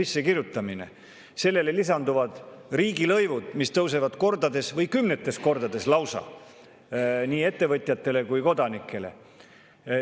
Sellele kõigele lisanduvad riigilõivud, mis tõusevad kordades või lausa kümnetes kordades nii ettevõtjatele kui ka kodanikele.